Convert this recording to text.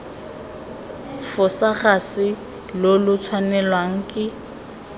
fosagatse lo lo tshwanelwang ke